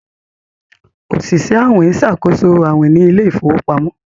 Oṣiṣẹ awin nṣakoso awin ní Ilé ìfowópamọ́